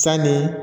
Sanni